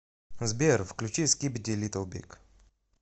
сбер включи скибиди литл биг